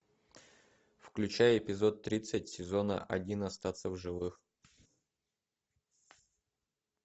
включай эпизод тридцать сезона один остаться в живых